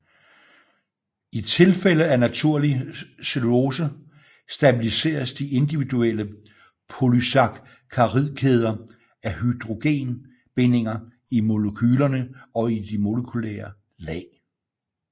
I tilfælde af naturlig cellulose stabiliseres de individuelle polysakkaridkæder af hydrogenbindinger i molekylerne og i de molekylære lag